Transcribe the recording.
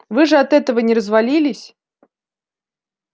вы же от этого не развалились